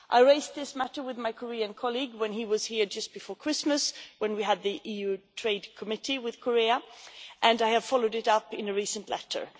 I raised this matter with my Korean colleague when he was here just before Christmas, when we had the EU trade committee with Korea, and I have followed it up in a recent letter.